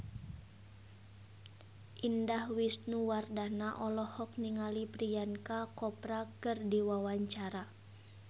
Indah Wisnuwardana olohok ningali Priyanka Chopra keur diwawancara